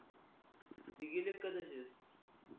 ते गेलेत का तशेच